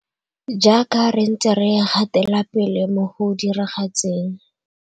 Jaaka re ntse re gatelapele mo go diragatseng.